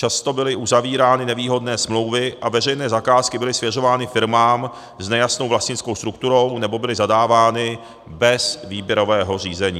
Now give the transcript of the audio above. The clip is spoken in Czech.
Často byly uzavírány nevýhodné smlouvy a veřejné zakázky byly svěřovány firmám s nejasnou vlastnickou strukturou, nebo byly zadávány bez výběrového řízení.